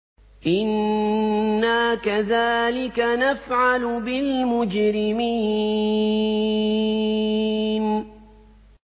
إِنَّا كَذَٰلِكَ نَفْعَلُ بِالْمُجْرِمِينَ